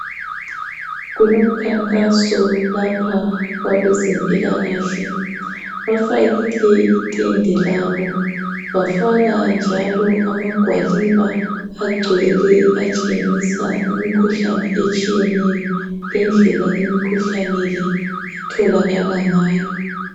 Kulomkhankaso lapha kwabezempilakahle .Bafakile itende labo bafaka njalo amagwaliba agcwele atshengisa imikhuhlane etshiyeneyo Lendlela imikhuhlane le etholakala ngayo .